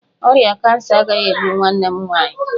Ọrịa kansa agaghị egbu nwanne m nwaanyị.